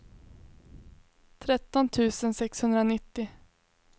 tretton tusen sexhundranittio